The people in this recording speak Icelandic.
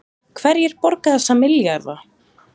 Hverjir borga þessa milljarða